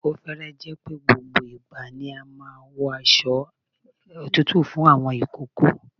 Ó fẹ́rẹ̀ẹ́ jẹ́ pé gbogbo ìgbà ni a máa ń wọ aṣo òtútù fún àwọn ìkókó.